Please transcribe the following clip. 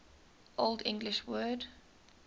old english word